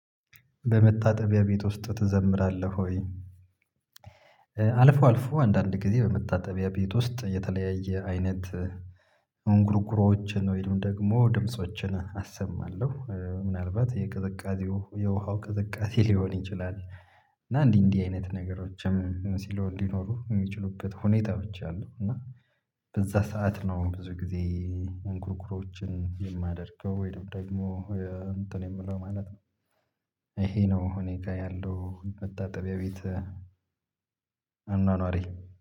በመታጠቢያ ቤት ውስጥ ትዘምራለህ ወይ? አልፎ አልፎ አንዳንድ ጊዜ በመታጠቢያ ቤት ውስጥ የተለያየ አይነት እንጉርጉሮዎችን ወይንም ደግሞ ድምፆችን አሰማለሁ ምናልባት የቅዝቃዜው የውሃው ቅዝቃዜ ሊሆን ይችላል። እና እንዲህ እንዲህ አይነት ነገሮችም ሲለው እንዲኖሩ እሚችሉበት ሁኔታዎች አሉ። እና በዛ ሰዓት ነው ብዙ ጊዜ እንጉርጉሮዎችን የማደርገው ወይንም ደግሞ እንትን የምለው ማለት ነው። እሄ ነው እኔ ጋር ያለው መታጠቢያ ቤት አኗኗሬ